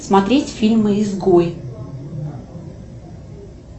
смотреть фильмы изгой